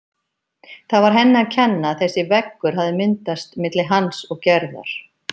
Það var henni að kenna að þessi veggur hafði myndast milli hans og Gerðar.